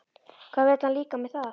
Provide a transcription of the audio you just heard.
Hvað vill hann líka með það?